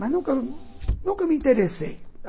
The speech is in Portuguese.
Mas nunca nunca me interessei.